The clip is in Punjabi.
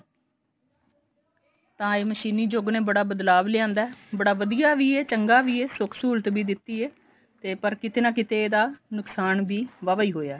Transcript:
ਤਾਂ ਇਹ ਮਸ਼ੀਨੀ ਯੁੱਗ ਨੇ ਬੜਾ ਬਦਲਾਵ ਲਿਆਂਦਾ ਬੜਾ ਵਧੀਆ ਵੀ ਐ ਚੰਗਾ ਵੀ ਐ ਸੁੱਖ ਸਹੁਲਤ ਵੀ ਦਿੱਤੀ ਐ ਤੇ ਪਰ ਕਿਤੇ ਨਾ ਕਿਤੇ ਇਹਦਾ ਨੁਕਸਾਨ ਵੀ ਵਾਵਾ ਹੀ ਹੋਇਆ